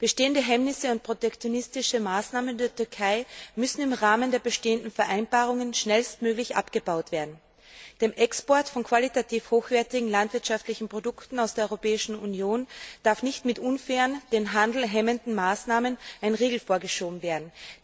Bestehende Hemmnisse und protektionistische Maßnahmen der Türkei müssen im Rahmen der bestehenden Vereinbarungen schnellstmöglich abgebaut werden. Dem Export von qualitativ hochwertigen landwirtschaftlichen Produkten aus der Europäischen Union darf nicht mit unfairen, den Handel hemmenden Maßnahmen ein Riegel vorgeschoben werden.